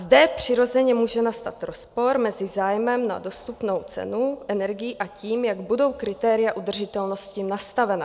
Zde přirozeně může nastat rozpor mezi zájmem na dostupnou cenu energií a tím, jak budou kritéria udržitelnosti nastavena.